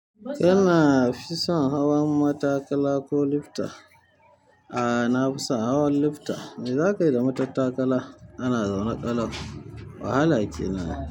Kana fison hawan matakala ko lifta? A'a, na fi son hawan lifta. Me za ka yi da matattakala? Ana zaune ƙalau. Wahala kenan.